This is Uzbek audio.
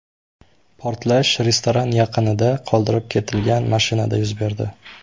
Portlash restoran yaqinida qoldirib ketilgan mashinada yuz berdi.